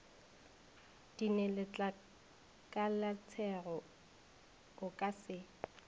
di neletlakalatšego o ka se